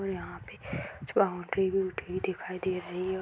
और यहाँ पे कुछ बाउंड्री भी उठी हुई दिखाई दे रही है औ --